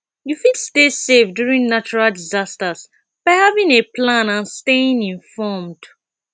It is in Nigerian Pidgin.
you fit stay safe during natural disasters by having a plan and staying informed